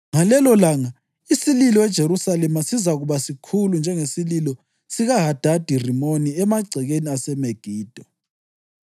Ngalelolanga isililo eJerusalema sizakuba sikhulu njengesililo sikaHadadi-Rimoni emagcekeni aseMegido.